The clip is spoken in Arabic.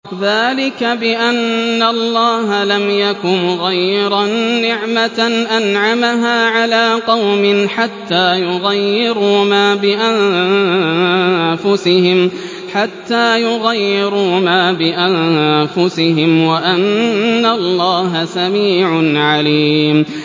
ذَٰلِكَ بِأَنَّ اللَّهَ لَمْ يَكُ مُغَيِّرًا نِّعْمَةً أَنْعَمَهَا عَلَىٰ قَوْمٍ حَتَّىٰ يُغَيِّرُوا مَا بِأَنفُسِهِمْ ۙ وَأَنَّ اللَّهَ سَمِيعٌ عَلِيمٌ